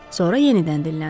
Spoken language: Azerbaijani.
Sonra yenidən dinləndi: